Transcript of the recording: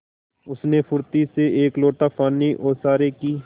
उसने फुर्ती से एक लोटा पानी ओसारे की